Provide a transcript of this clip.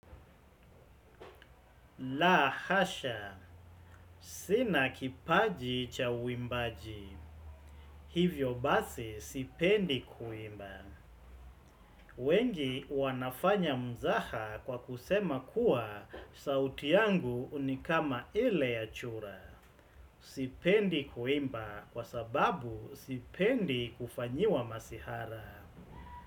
La hasha. Sina kipaji cha wimbaji. Hivyo basi sipendi kuimba. Wengi wanafanya mzaha kwa kusema kuwa sauti yangu nikama ile ya chura. Sipendi kuimba kwa sababu sipendi kufanyiwa masihara.